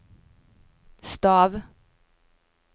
stav